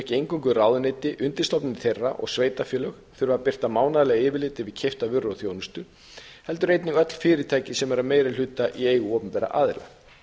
ein göngu ráðuneyti undirstofnanir þeirra og sveitarfélög þurfa að birta mánaðarlega yfirlit yfir keyptar vörur og þjónustu heldur einnig öll fyrirtæki sem eru að meiri hluta í eigu opinberra aðila